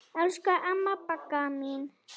Elsku amma Bagga mín.